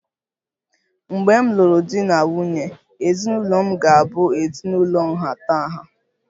Mgbe m lụrụ di na nwunye, ezinụlọ m ga-abụ ezinụlọ nhatanha